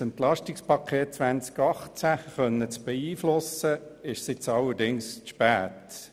Um das Entlastungspaket 2018 beeinflussen zu können, ist es allerdings zu spät.